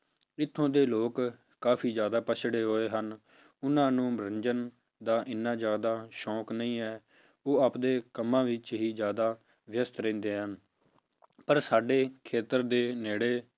ਇੱਥੋਂ ਦੇ ਲੋਕ ਕਾਫ਼ੀ ਜ਼ਿਆਦਾ ਪਿੱਛੜੇ ਹੋਏ ਹਨ, ਉਹਨਾਂ ਨੂੰ ਮਨੋਰੰਜਨ ਦਾ ਇੰਨਾ ਜ਼ਿਆਦਾ ਸ਼ੌਂਕ ਨਹੀਂ ਹੈ, ਉਹ ਆਪਦੇ ਕੰਮਾਂ ਵਿੱਚ ਹੀ ਜ਼ਿਆਦਾ ਵਿਅਸ਼ਤ ਰਹਿੰਦੇ ਹਨ ਪਰ ਸਾਡੇ ਖੇਤਰ ਦੇ ਨੇੜੇ